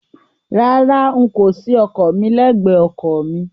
Rárá, n kò ṣí ọkọ̀ mi lẹ́gbẹ̀ẹ́ ọkọ̀ mi.